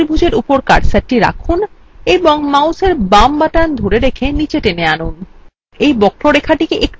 তারপর ত্রিভুজএর উপর কার্সারটি রাখুন এবং mouseএর বাম button ধরে রেখে নীচে then আনুন